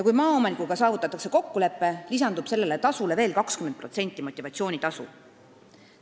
Kui maaomanikuga saavutatakse kokkulepe, lisandub sellele veel 20% motivatsioonitasu.